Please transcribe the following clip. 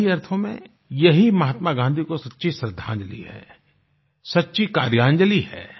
सही अर्थों में यही महात्मा गाँधी को सच्ची श्रद्धांजलि है सच्ची कार्यांजलि है